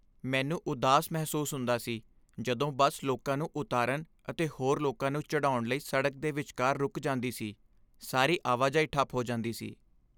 ਮੈਨੂੰ ਉਦਾਸ ਮਹਿਸੂਸ ਹੁੰਦਾ ਸੀ ਜਦੋਂ ਬੱਸ ਲੋਕਾਂ ਨੂੰ ਉਤਾਰਨ ਅਤੇ ਹੋਰ ਲੋਕਾਂ ਨੂੰ ਚੜ੍ਹਾਉਣ ਲਈ ਸੜਕ ਦੇ ਵਿਚਕਾਰ ਰੁੱਕ ਜਾਂਦੀ ਸੀ। ਸਾਰੀ ਆਵਾਜਾਈ ਠੱਪ ਹੋ ਜਾਂਦੀ ਸੀ ।